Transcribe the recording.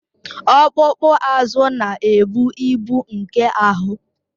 Ọkpụkpụ azụ na-ebu ibu nke ahụ